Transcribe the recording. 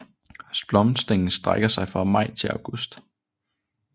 Blomstringen strækker sig fra maj til august